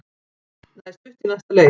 Það er stutt í næsta leik.